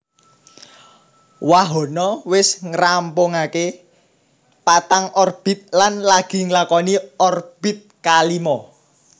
Wahana wis ngrampungaké 4 orbit lan lagi nglakoni orbit kalimo